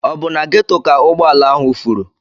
Ọ bụ na Ghetto ka ụgbọ ala ahụ furu?